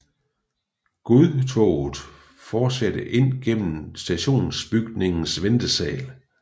Godtoget fortsatte ind gennem stationsbygningens ventesal